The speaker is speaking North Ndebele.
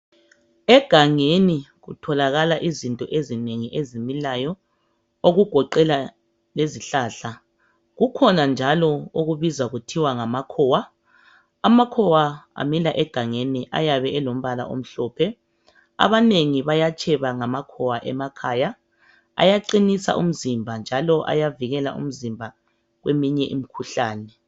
Egangeni kutholakala izinto ezinengi ezimilayo. Okugoqela lezihlahla. Kukhona njalo okubizwa kuthiwa ngamakhowa. Amakhowa amila egangeni. Ayabe elombala omhlophe. Ayaqinisa umzimba njalo ayavikela umzimba kweminye imikhuhlane,.